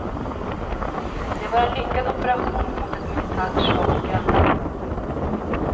Det var en lyckad operation mot ett militärt svagt grannland.